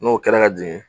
N'o kɛra ka jigin